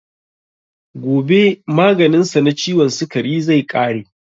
Gobe maganin sa na ciwon sikari zai ƙare